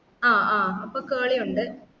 ആ ആഹ് അപ്പൊ curley ഉണ്ട്